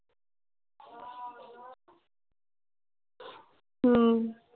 হম